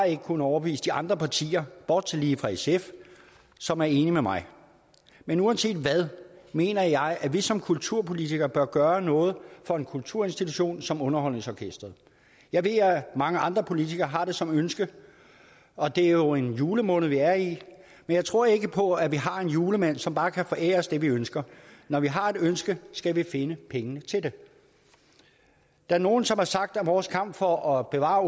ikke kunnet overbevise de andre partier bortset fra sf som er enig med mig men uanset hvad mener jeg at vi som kulturpolitikere bør gøre noget for en kulturinstitution som underholdningsorkestret jeg ved at mange andre politikere har det som ønske og det er jo en julemåned vi er i men jeg tror ikke på at vi har en julemand som bare kan forære os det vi ønsker når vi har et ønske skal vi finde pengene til det der er nogle som har sagt at vores kamp for at bevare